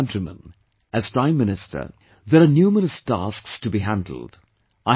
My dear countrymen, as Prime Minister, there are numerous tasks to be handled